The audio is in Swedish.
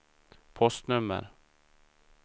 postnummer